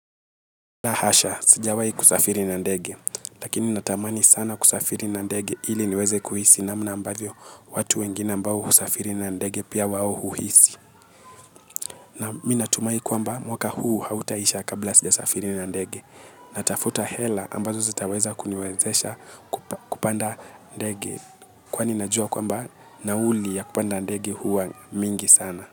La hasha sijawahi kusafiri na ndege lakini natamani sana kusafiri na ndege ili niweze kuhisi namna ambavyo watu wengine ambao husafiri na ndege pia wao huhisi. Naam mimi natumai kwamba mwaka huu hautaisha kabla sijasafiri na ndege. Natafuta hela ambazo zitaweza kuniwezesha kupanda ndege. Kwani najua kwamba nauli ya kupanda ndege huwa mingi sana.